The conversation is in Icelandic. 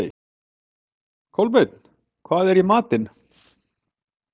Kolbeinn, hvað er í matinn?